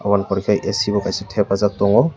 abo ni poreh khai ac bo kaisa thepajak tong.